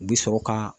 U bɛ sɔrɔ ka